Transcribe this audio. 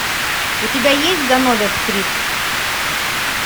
у тебя есть ганновер стрит